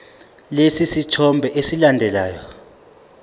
lesi sithombe esilandelayo